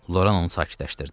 Loran onu sakitləşdirdi.